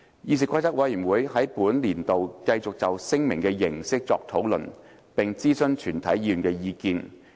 議事規則委員會在本年度繼續就聲明的形式作出討論，並徵詢全體議員的意見。